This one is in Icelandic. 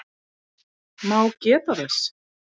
má geta þess